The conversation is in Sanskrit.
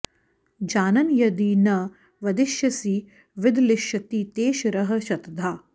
जानन् यदि न वदिष्यसि विदलिष्यति ते शिरः शतधा